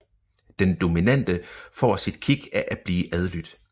Den dominante får sit kick af at blive adlydt